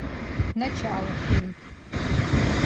начало фильм